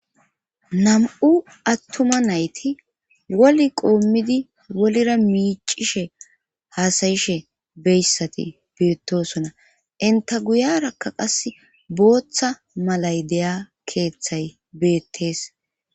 Nam7u attuma nayti wol qoommidi wolira miicishe haasayishe beyssati beettosona inta guyarakka qas booththa malay deya keeththay beettees.